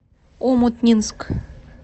омутнинск